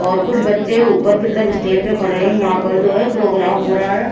और कुछ बच्चे ऊपर की तरफ स्टेज पर खड़े हैं यहाँ पर जो है प्रोग्राम हो रहा है।